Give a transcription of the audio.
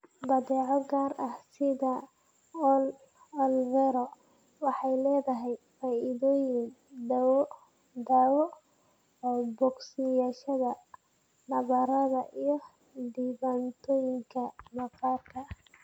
Badeeco gaar ah sida aloe vera waxay leedahay faa'iidooyin daawo oo bogsashada nabarrada iyo dhibaatooyinka maqaarka.